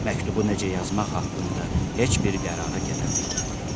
Məktubu necə yazmaq haqqında heç bir qərara gələ bilmədi.